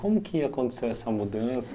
Como que aconteceu essa mudança?